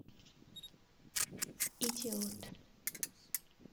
идиот